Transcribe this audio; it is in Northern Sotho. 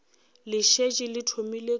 le šetše le thomile ka